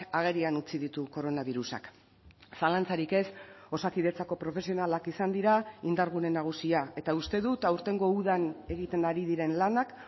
agerian utzi ditu koronabirusak zalantzarik ez osakidetzako profesionalak izan dira indargune nagusia eta uste dut aurtengo udan egiten ari diren lanak